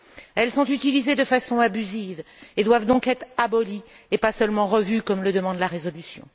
Elles sont utilisées de façon abusive et doivent donc être abolies et pas seulement revues comme le demande la résolution.